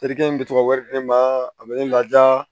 Terikɛ in bɛ ka wari di ne ma a bɛ ne laja